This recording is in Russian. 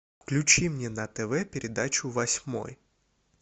включи мне на тв передачу восьмой